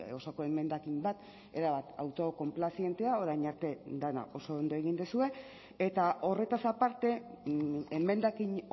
osoko emendakin bat erabat autokonplazientea orain arte dena oso ondo egin duzue eta horretaz aparte emendakin